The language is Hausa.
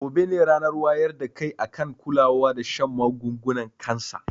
Gobe ne ranar wayar da kai akan kulawa da shan magungunan kansa